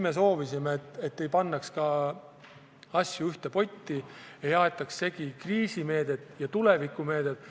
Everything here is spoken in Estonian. Me soovisime, et ei pandaks asju ühte potti, ei aetaks segi kriisimeedet ja tulevikumeedet.